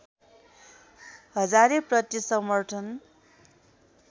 हजारेप्रति समर्थन